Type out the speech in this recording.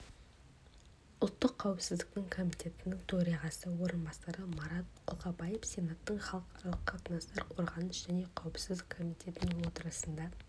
ұлттық кауіпсіздік комитеті төрағасының орынбасары марат қолқобаев сенаттың халықаралық қатынастар қорғаныс және қауіпсіздік комитетінің отырысында